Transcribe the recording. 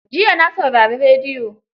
Jiya na saurari rediyo.